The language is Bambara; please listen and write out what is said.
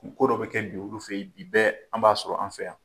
Ko dɔ bɛ kɛ bi olu fɛ ye bi bɛɛ an b'a sɔrɔ an fɛ yan.